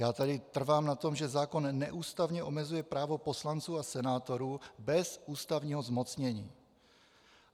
Já tady trvám na tom, že zákon neústavně omezuje právo poslanců a senátorů bez ústavního zmocnění.